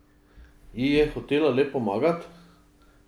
Ji je hotela le pomagat?